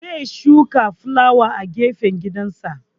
Zai shuka fulawa a gefen gidansa